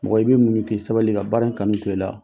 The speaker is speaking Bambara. Mɔgɔ i bi muɲu k'i sabali ka baara in kanu to i la.